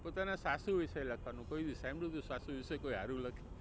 પોતાના સાસુ વિશે લખવાનું કોઈ દિવસ સાંભળ્યું છે કોઈ સાસુ વિશે કોઈ સારું લખે.